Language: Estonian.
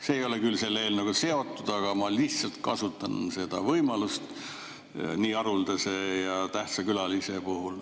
See ei ole küll selle eelnõuga seotud, aga ma lihtsalt kasutan seda võimalust nii haruldase ja tähtsa külalise puhul.